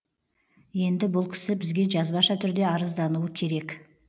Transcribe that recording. енді бұл кісі бізге жазбаша түрде арыздануы керек